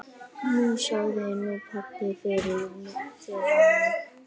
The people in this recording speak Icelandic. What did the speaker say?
Knúsaðu nú pabba fyrir mig.